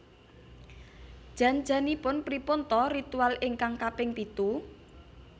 Jan janipun pripun ta ritual ingkang kaping pitu